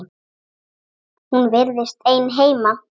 Hún virtist ein heima.